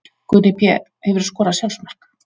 Gunni Pé Hefurðu skorað sjálfsmark?